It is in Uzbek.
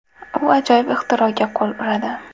U ajoyib ixtiroga qo‘l uradi.